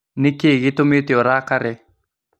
Nĩkĩĩ gĩtũmĩte ũrakare?